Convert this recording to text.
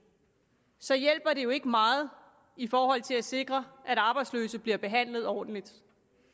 så hjælper det jo ikke meget i forhold til at sikre at arbejdsløse bliver behandlet ordentligt